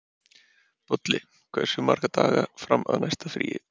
Bolli, hversu margir dagar fram að næsta fríi?